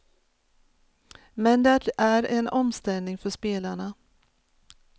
Men det är en omställning för spelarna.